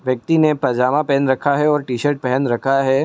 व्यक्ति ने पैजामा पहन रखा है और टी-शर्ट पहेन रखा है ।